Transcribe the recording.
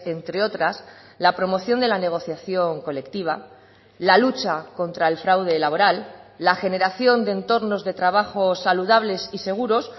entre otras la promoción de la negociación colectiva la lucha contra el fraude laboral la generación de entornos de trabajos saludables y seguros